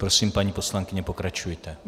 Prosím, paní poslankyně, pokračujte.